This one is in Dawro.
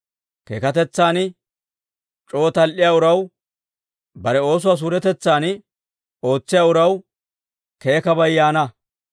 Keekatetsan c'oo tal"iyaa uraw, bare oosuwaa suuretetsan ootsiyaa uraw, keekabay yaana.